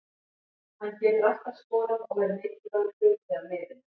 Hann getur alltaf skorað og er mikilvægur hluti af liðinu.